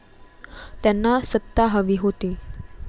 त्यांना सत्ता हवी होती.